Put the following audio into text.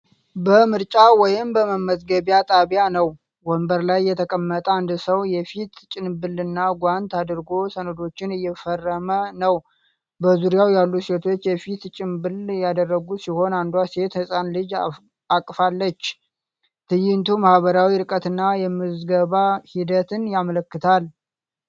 በምርጫ ወይም በመመዝገቢያ ጣቢያ ነው። ወንበር ላይ የተቀመጠ አንድ ሰው የፊት ጭንብልና ጓንት አድርጎ ሰነዶችን እየፈረመ ነው። በዙሪያው ያሉ ሴቶችም የፊት ጭንብል ያደረጉ ሲሆን፣ አንዷ ሴት ሕፃን ልጅ አቅፋለች። ትዕይንቱ ማኅበራዊ ርቀትንና የምዝገባ ሂደትን ያመለክታል።